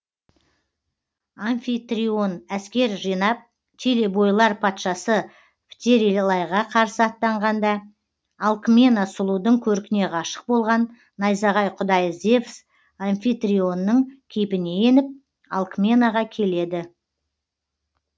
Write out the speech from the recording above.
амфитрион әскер жинап телебойлар патшасы птерелайға қарсы аттанғанда алкмена сұлудың көркіне ғашық болған найзағай құдайы зевс амфитрионның кейпіне еніп алкменаға келеді